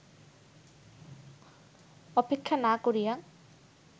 অপেক্ষা না করিয়া